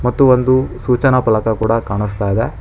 ಮತ್ತು ಒಂದು ಸೂಚನಾ ಫಲಕ ಕೂಡ ಕಾಣಿಸ್ತಾ ಇದೆ.